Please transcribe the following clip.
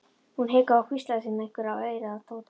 Hún hikaði en hvíslaði síðan einhverju í eyrað á Tóta.